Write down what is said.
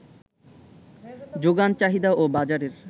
যোগান, চাহিদা ও বাজারের